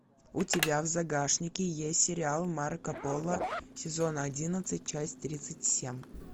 у тебя в загашнике есть сериал марко поло сезон одиннадцать часть тридцать семь